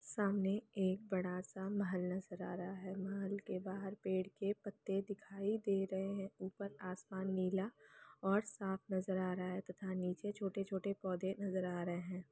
सामने एक बड़ा सा महल नजर आ रहा है । महल के बाहर पेड़ के पत्ते दिखाई दे रहे है । ऊपर आसमान नीला और साफ नजर आ रहा है तथा नीचे छोटे छोटे पौधे नजर आ रहे है ।